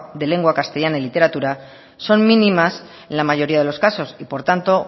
de lengua castellana y literatura son mínimas en la mayoría de los casos y por tanto